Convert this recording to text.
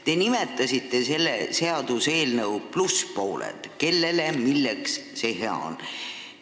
Te nimetasite selle seaduseelnõu plusspoole: kellele ja milleks see hea on.